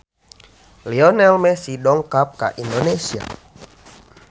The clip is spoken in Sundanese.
Lionel Messi dongkap ka Indonesia